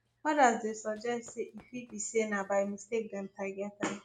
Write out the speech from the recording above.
odas dey suggest say e fit be say na by mistake dem target am